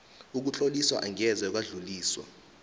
ukutloliswa angeze kwadluliswa